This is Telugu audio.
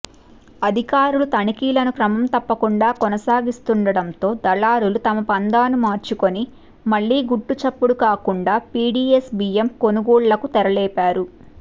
అధికారులు తనిఖీలను క్రమం తప్పకుండా కొనసాగిస్తుండడంతో దళారులు తమ పంథాను మార్చుకొని మళ్ళీ గుట్టుచప్పుడుకాకుండా పిడిఎస్బియ్యం కొనుగోళ్లకు తెరలేపారు